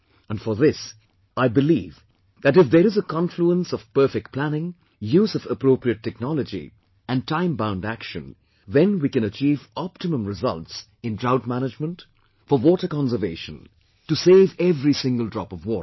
And for this, I believe that if there is a confluence of perfect planning, use of appropriate technology, and timebound action, then we can achieve optimum results in drought management, for water conservation, to save every single drop of water